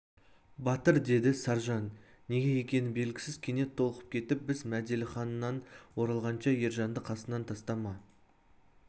батыр деді саржан неге екені белгісіз кенет толқып кетіп біз мәделіханнан оралғанша ержанды қасыңнан тастама